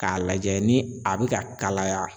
K'a lajɛ ni a bi ka kalaya